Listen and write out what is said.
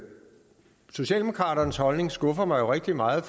socialdemokraternes holdning jo skuffer mig rigtig meget